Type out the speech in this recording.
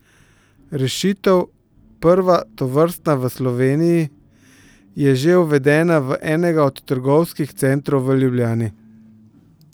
Rešitev, prva tovrstna v Sloveniji, je že uvedena v enega od trgovskih centrov v Ljubljani.